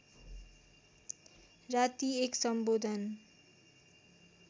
राती एक सम्बोधन